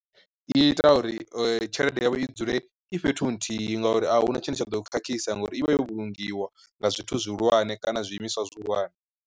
I ita uri tshelede yavho i dzule i fhethu nthihi ngauri ahuna tshine tsha ḓo khakhisa ngauri ivha yo vhulungiwa nga zwithu zwihulwane kana zwiimiswa zwihulwane.